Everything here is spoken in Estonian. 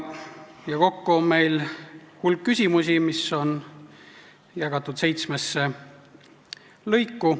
Kokku on meil hulk küsimusi, mis on jagatud seitsmeks plokiks.